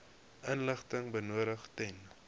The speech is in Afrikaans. inligting benodig ten